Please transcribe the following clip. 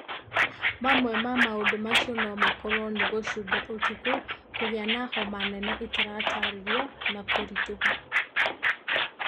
Mamwe ma maũndũ macio no makorũo nĩ gũcũnga ũtukũ, kũgĩa na homa nene itataarĩirio, na kũritũha.